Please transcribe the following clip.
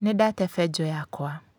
Nĩndate benjũ yakwa